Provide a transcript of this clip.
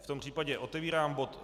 V tom případě otevírám bod